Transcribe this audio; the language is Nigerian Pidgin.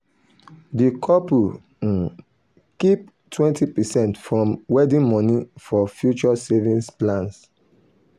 the couple um keep 20 percent from wedding money for future savings plan.